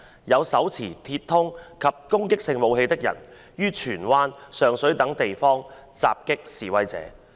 有手持鐵通及攻擊性武器的人於荃灣、上水等地方襲擊示威者。